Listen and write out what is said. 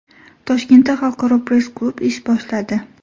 Toshkentda xalqaro press-klub ish boshladi.